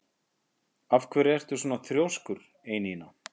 Af hverju ertu svona þrjóskur, Einína?